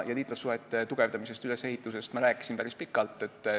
Liitlassuhete ülesehitusest ja tugevdamisest ma rääkisin päris pikalt.